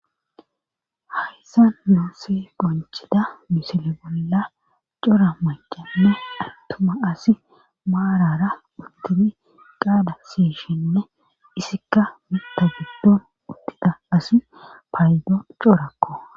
hayssan yonse gonchida misile bolla cora macana attuma asi maarara uddini qaada siyishinne isikka mikta giddon uttida asi paydo corakko